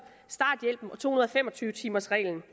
starthjælpen og to hundrede og fem og tyve timers reglen